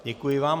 Děkuji vám.